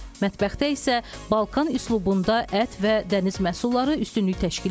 Mətbəxdə isə Balkan üslubunda ət və dəniz məhsulları üstünlük təşkil edir.